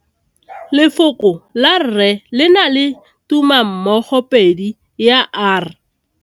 Lefoko la rre le na le tumammogôpedi ya, r.